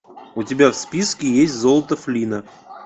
у тебя в списке есть золото флинна